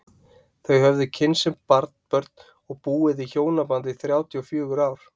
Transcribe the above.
Þau höfðu kynnst sem börn og búið í hjónabandi í þrjátíu og fjögur ár.